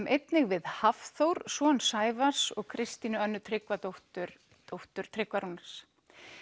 einnig við Hafþór son Sævars og Kristínu Önnu Tryggvadóttir dóttur Tryggva Rúnars